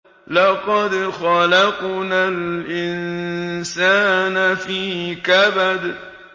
لَقَدْ خَلَقْنَا الْإِنسَانَ فِي كَبَدٍ